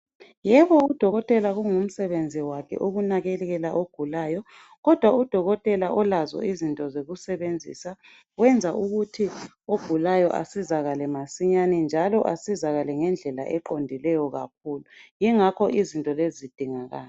Yebo udokotela kungu msebenzi wakhe ukunakekela ogulayo kodwa udokotela ulazo into zokusebenzisa. Kuyenza ukuthi ogulayo asizakale masinyane njalo asizakale ngendlela eqondileyo kakhulu yingakho izinto lezi zidingakala.